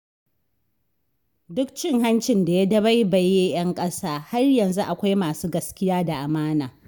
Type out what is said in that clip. Duk da cin hanci da ya dabaibaye 'yan ƙasa, har yanzu akwai masu gaskiya da amana.